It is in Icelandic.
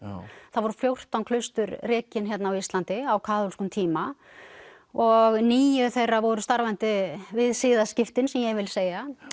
það voru fjórtán klaustur rekin hérna á Íslandi á kaþólskum tíma og níu þeirra voru starfandi við siðaskiptin sem ég vil segja